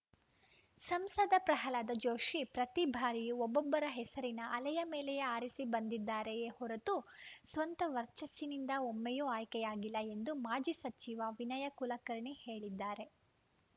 ಸಂಸದ ಪ್ರಹ್ಲಾದ ಜೋಶಿ ಪ್ರತಿ ಬಾರಿಯೂ ಒಬ್ಬೊಬ್ಬರ ಹೆಸರಿನ ಅಲೆಯ ಮೇಲೆಯೇ ಆರಿಸಿ ಬಂದಿದ್ದಾರೆಯೇ ಹೊರತು ಸ್ವಂತ ವರ್ಚಸ್ಸಿನಿಂದ ಒಮ್ಮೆಯೂ ಆಯ್ಕೆಯಾಗಿಲ್ಲ ಎಂದು ಮಾಜಿ ಸಚಿವ ವಿನಯ ಕುಲಕರ್ಣಿ ಹೇಳಿದ್ದಾರೆ